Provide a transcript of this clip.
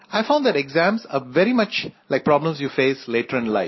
I found that exams are very much like problems you face later in life